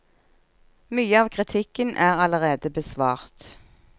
Mye av kritikken er allerede besvart.